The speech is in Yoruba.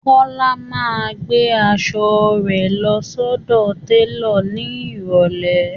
Kọọ́lá máa gbé asọ rẹ̀ lọ sọ́dọ̀ télò ní ìrọ̀lẹ́